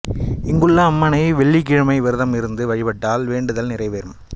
இங்குள்ள அம்மனை வெள்ளிக்கிழமம் விரதம் இருந்து வழிபட்டால் வேண்டுதல் நிறைவேறும்